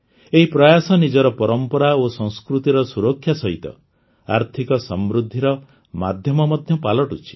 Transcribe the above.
ଏହି ପ୍ରୟାସ ନିଜର ପରମ୍ପରା ଓ ସଂସ୍କୃତିର ସୁରକ୍ଷା ସହିତ ଆର୍ଥିକ ସମୃଦ୍ଧିର ମାଧ୍ୟମ ମଧ୍ୟ ପାଲଟୁଛି